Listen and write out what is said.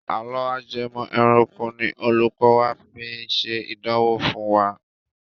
Àlọ́ ajẹmọ̀ ẹranko ni olùkọ máa fi ṣe ìdánwò fún wa.